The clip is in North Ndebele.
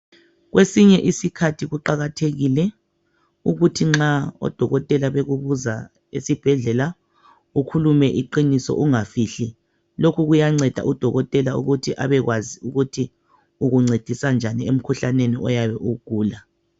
Kwesinye isikhathi kuqakathekile ukuthi nxa odokotela bekubuza esibhedlela ukhulume iqiniso ungafihli. Lokhu kuyanceda udokotela ukuthi abekwazi ukuthi ukuncedisa njani emkhuhlaneni oyabe uwugula.